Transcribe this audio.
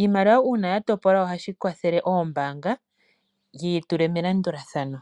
Iimaliwa uuna yatopolwa ohashi kwathele oombaanga dhiyi tule melandulathano.